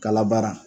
Kala baara